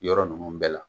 Yɔrɔ ninnu bɛɛ la